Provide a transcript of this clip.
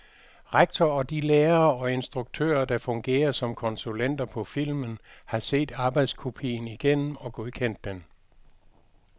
Rektor og de lærere og instruktører, der fungerer som konsulenter på filmen, har set arbejdskopien igennem og godkendt den.